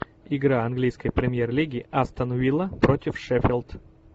игра английской премьер лиги астон вилла против шеффилд